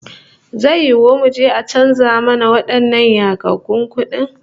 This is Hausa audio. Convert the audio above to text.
Zai yiwu muje a canza mana wadannan yagaggun kudin?